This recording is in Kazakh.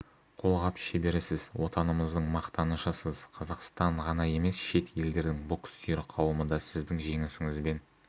қолғап шеберісіз отанымыздың мақтанышысыз қазақстан ғана емес шет елдердің бокс сүйер қауымы да сіздің жеңісіңізбен